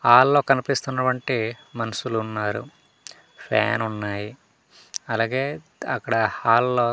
హాల్లో కనిపిస్తున్నవంటి మనుషులున్నారు ఫ్యానున్నాయి అలగే అక్కడ హాల్లో --